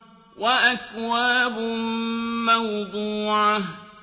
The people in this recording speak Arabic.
وَأَكْوَابٌ مَّوْضُوعَةٌ